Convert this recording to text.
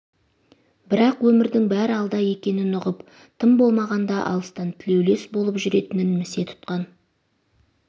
бірақ өмірдің бәрі алда екенін ұғып тым болмағанда алыстан тілеулес болып жүретінін місе тұтқан